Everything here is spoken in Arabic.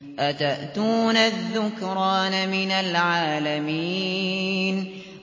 أَتَأْتُونَ الذُّكْرَانَ مِنَ الْعَالَمِينَ